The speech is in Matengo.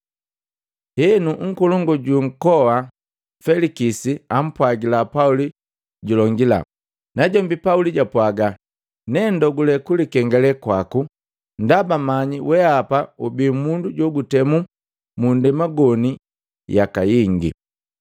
Henu, nkolongu jwa nkoa Felikisi ampwagila Pauli julongila. Najombi Pauli jwapwaga, “Ne ndogule kulikengale kwaku ndaba manyi weapa ubi mundu jukutemu mu nndema goni yaka jingi.